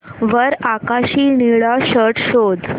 वर आकाशी निळा शर्ट शोध